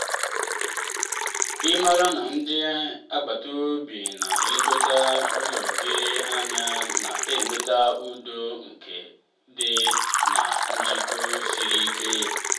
ịmara na ndị agbata obi na-elekọta ụlọ gi anya na-eweta udo nke obi na njikọ siri ike.